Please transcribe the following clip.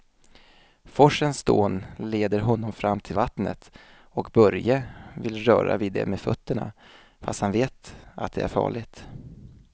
Forsens dån leder honom fram till vattnet och Börje vill röra vid det med fötterna, fast han vet att det är farligt.